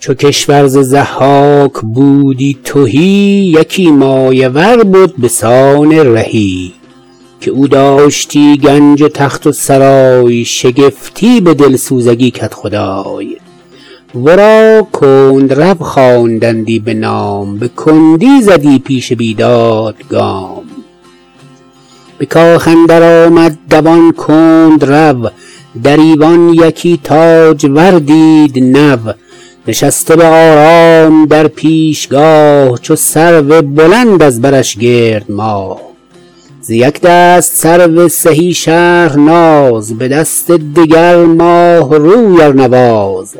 چو کشور ز ضحاک بودی تهی یکی مایه ور بد به سان رهی که او داشتی گنج و تخت و سرای شگفتی به دلسوزگی کدخدای ورا کندرو خواندندی بنام به کندی زدی پیش بیداد گام به کاخ اندر آمد دوان کندرو در ایوان یکی تاجور دید نو نشسته به آرام در پیشگاه چو سرو بلند از برش گرد ماه ز یک دست سرو سهی شهرناز به دست دگر ماه روی ارنواز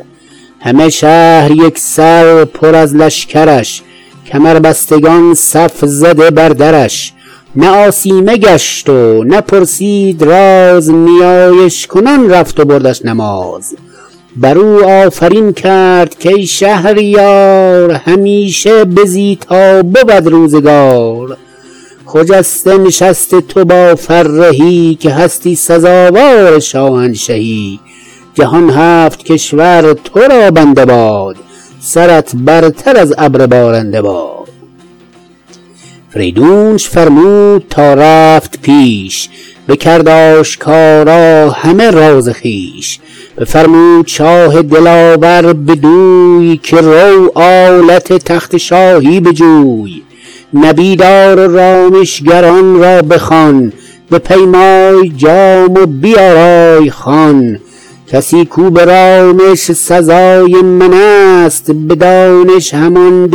همه شهر یک سر پر از لشکرش کمربستگان صف زده بر درش نه آسیمه گشت و نه پرسید راز نیایش کنان رفت و بردش نماز بر او آفرین کرد کای شهریار همیشه بزی تا بود روزگار خجسته نشست تو با فرهی که هستی سزاوار شاهنشهی جهان هفت کشور تو را بنده باد سرت برتر از ابر بارنده باد فریدونش فرمود تا رفت پیش بکرد آشکارا همه راز خویش بفرمود شاه دلاور بدوی که رو آلت تخت شاهی بجوی نبیذ آر و رامشگران را بخوان بپیمای جام و بیارای خوان کسی کاو به رامش سزای من است به دانش همان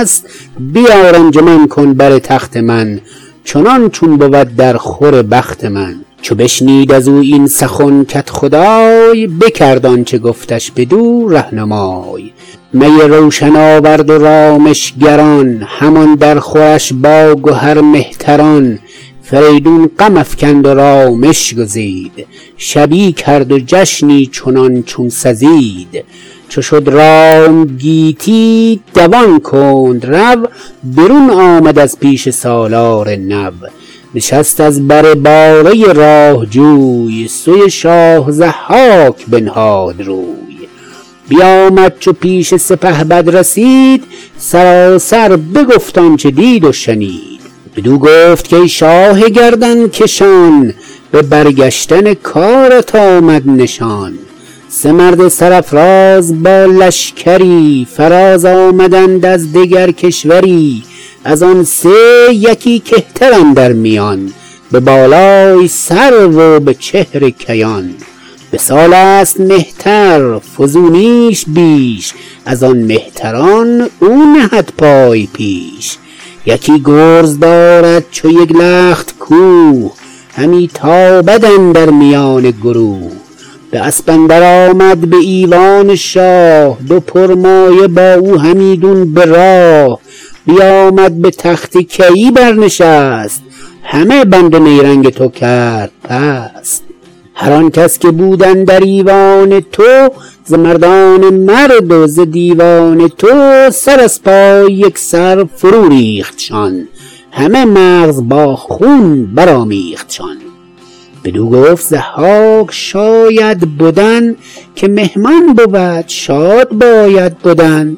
دلزدای من است بیار انجمن کن بر تخت من چنان چون بود در خور بخت من چو بشنید از او این سخن کدخدای بکرد آنچه گفتش بدو رهنمای می روشن آورد و رامشگران همان در خورش با گهر مهتران فریدون غم افکند و رامش گزید شبی کرد جشنی چنان چون سزید چو شد رام گیتی دوان کندرو برون آمد از پیش سالار نو نشست از بر باره راه جوی سوی شاه ضحاک بنهاد روی بیآمد چو پیش سپهبد رسید سراسر بگفت آنچه دید و شنید بدو گفت کای شاه گردنکشان به برگشتن کارت آمد نشان سه مرد سرافراز با لشکری فراز آمدند از دگر کشوری از آن سه یکی کهتر اندر میان به بالای سرو و به چهر کیان به سال است کهتر فزونیش بیش از آن مهتران او نهد پای پیش یکی گرز دارد چو یک لخت کوه همی تابد اندر میان گروه به اسپ اندر آمد به ایوان شاه دو پرمایه با او همیدون براه بیآمد به تخت کیی بر نشست همه بند و نیرنگ تو کرد پست هر آن کس که بود اندر ایوان تو ز مردان مرد و ز دیوان تو سر از پای یک سر فرو ریختشان همه مغز با خون برآمیختشان بدو گفت ضحاک شاید بدن که مهمان بود شاد باید بدن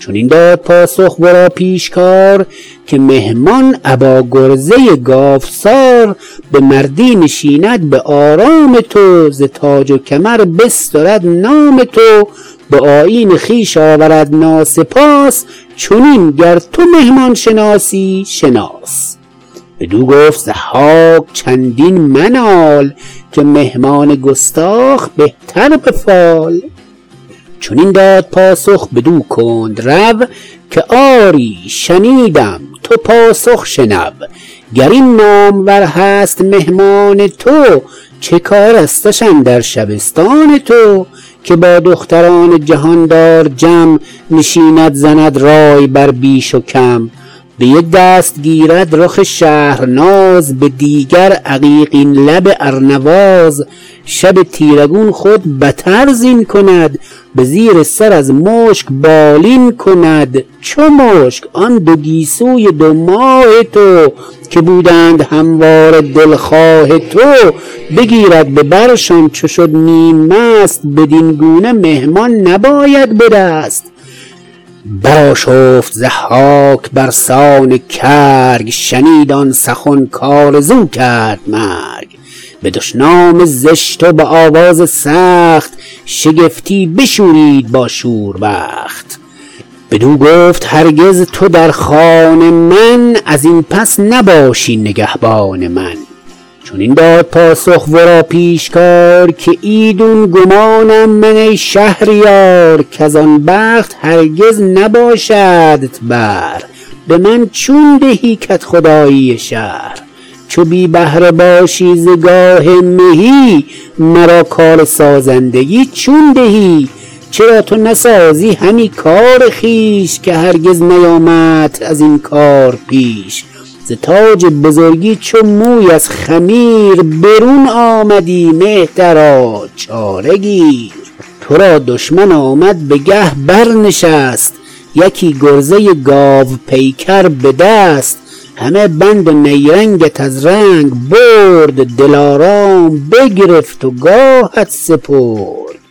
چنین داد پاسخ ورا پیشکار که مهمان ابا گرزه گاوسار به مردی نشیند به آرام تو ز تاج و کمر بسترد نام تو به آیین خویش آورد ناسپاس چنین گر تو مهمان شناسی شناس بدو گفت ضحاک چندین منال که مهمان گستاخ بهتر به فال چنین داد پاسخ بدو کندرو که آری شنیدم تو پاسخ شنو گر این نامور هست مهمان تو چه کارستش اندر شبستان تو که با دختران جهاندار جم نشیند زند رای بر بیش و کم به یک دست گیرد رخ شهرناز به دیگر عقیق لب ارنواز شب تیره گون خود بتر زین کند به زیر سر از مشک بالین کند چو مشک آن دو گیسوی دو ماه تو که بودند همواره دلخواه تو بگیرد به برشان چو شد نیم مست بدین گونه مهمان نباید به دست برآشفت ضحاک برسان کرگ شنید آن سخن کآرزو کرد مرگ به دشنام زشت و به آواز سخت شگفتی بشورید با شور بخت بدو گفت هرگز تو در خان من از این پس نباشی نگهبان من چنین داد پاسخ ورا پیشکار که ایدون گمانم من ای شهریار کز آن بخت هرگز نباشدت بهر به من چون دهی کدخدایی شهر چو بی بهره باشی ز گاه مهی مرا کارسازندگی چون دهی چرا تو نسازی همی کار خویش که هرگز نیامدت از این کار پیش ز تاج بزرگی چو موی از خمیر برون آمدی مهترا چاره گیر تو را دشمن آمد به گه برنشست یکی گرزه گاوپیکر به دست همه بند و نیرنگت از رنگ برد دلارام بگرفت و گاهت سپرد